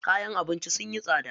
Kayan abinci sunyi tsada.